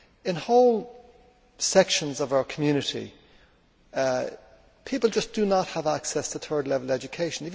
In whole sections of our community, people just do not have access to third level education.